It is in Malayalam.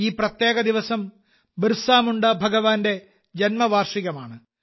ഈ പ്രത്യേക ദിവസം ബിർസ മുണ്ട ഭഗവാന്റെ ജന്മവാർഷികമാണ്